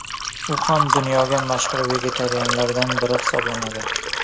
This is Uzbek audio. U ham dunyoga mashhur vegetarianlardan biri hisoblanadi.